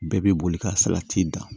Bɛɛ bɛ boli ka salati dan